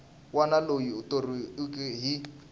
wana loyi a thoriweke hi